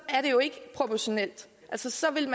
er det jo ikke proportionalt altså så ville